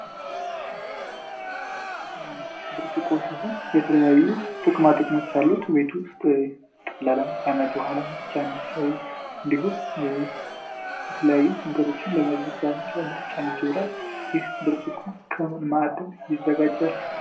ብርጭቆ ሰሆን የተለያዩ ጥክማጥቅሞች አሉት ቤቱ ውስጥ ለለመነት ውሃ ለመትጫነ እንዲሁም የተለያዩ ንገሮችን ለመበጃ ለመትጫነት ይውዳል። ይህ ብርጭቁ ከምንማዕደም ይዘጋጃል።